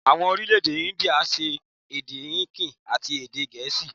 Àwon Orílèdè Índíà n sọ èdè Híndì àti èdè gèésì